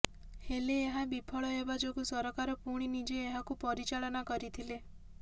ହେଲେ ଏହା ବିଫଳ ହେବା ଯୋଗୁଁ ସରକାର ପୁଣି ନିଜେ ଏହାକୁ ପରିଚାଳନା କରିଥିଲେ